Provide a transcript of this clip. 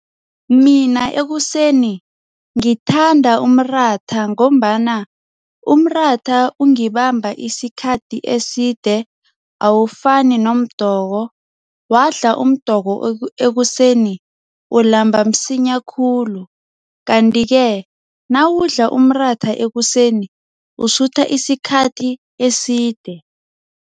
Mina ekuseni ngithanda umratha ngombana umratha ungibamba isikhathi eside awufani nomdoko. Wadla umdoko ekuseni ulamba msinya khulu. Kanti-ke nawudla umratha ekuseni usutha isikhathi eside.